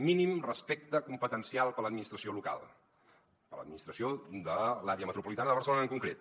mínim respecte competencial per a l’administració local per a l’administració de l’àrea metropolitana de barcelona en concret